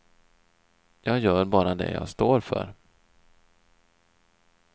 Jag gör bara det jag står för.